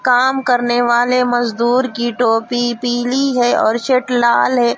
काम करने वाले मजदूर की टोपी पीली है और शर्ट लाल है।